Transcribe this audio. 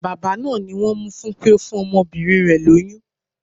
Bàbá náà ni wón mú fún pé ó fún ọmọbìnrin rẹ̀ lóyún.